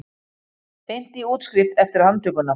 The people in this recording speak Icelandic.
Beint í útskrift eftir handtökuna